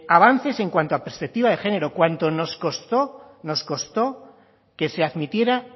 avances en cuanto a perspectiva de género cuando nos costó que se admitiera